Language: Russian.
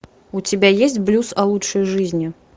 у тебя есть блюз о лучшей жизни